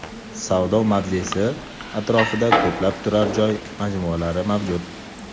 Savdo mavzesi atrofida ko‘plab turar joy majmualari mavjud.